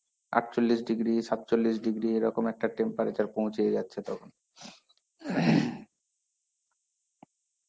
আটচল্লিশ degree সাতচল্লিশ degree এইরকম একটা temperature পৌছে যাচ্ছে তখন.